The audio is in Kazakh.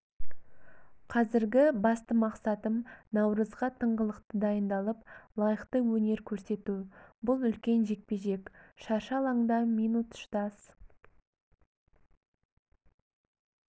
қазіргі басты мақсатым наурызға тыңғылықты дайындалып лайықты өнер көрсету бұл үлкен жекпе-жек шаршы алаңда минут шыдас